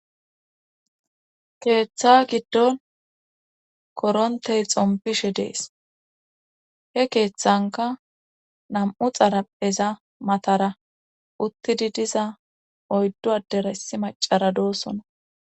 Keeththa giddon korontey xompishe dees he keeththanka nam'u xarapeza matara uttidi diza oyddu adera issi macara doossona.